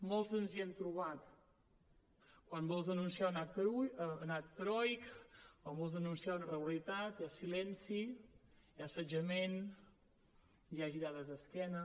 molts ens hi hem trobat quan vols denunciar és un acte heroic quan vols denunciar una irregularitat hi ha silenci hi ha assetjament hi ha girades d’esquena